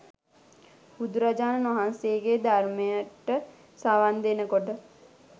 බුදුරජාණන්වහන්සේගේ ධර්මයට සවන් දෙනකොට